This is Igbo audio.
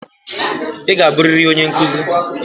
Ị ga-abụrịrị onye nkuzi.